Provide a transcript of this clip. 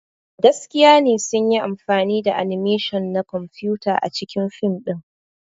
Gaskiya ne sun yi amfani da animation na kwamfuta a cikin fim ɗin.